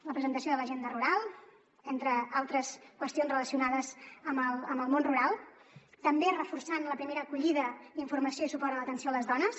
la presentació de l’agenda rural entre altres qüestions relacionades amb el món rural també reforçant la primera acollida informació i suport a l’atenció a les dones